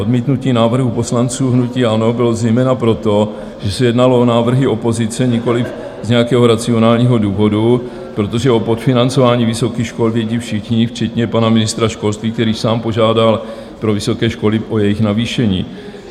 Odmítnutí návrhu poslanců hnutí ANO bylo zejména proto, že se jednalo o návrhy opozice, nikoliv z nějakého racionálního důvodu, protože o podfinancování vysokých škol vědí všichni včetně pana ministra školství, který sám požádal pro vysoké školy o jejich navýšení.